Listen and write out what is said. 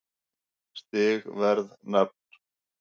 Stig Verð Nafn